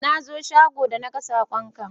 Na zo shago da na gan sakon ka